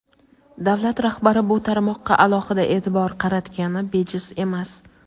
Davlat rahbari bu tarmoqqa alohida e’tibor qaratgani bejiz emas.